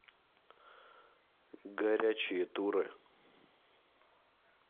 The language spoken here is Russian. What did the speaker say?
горячие туры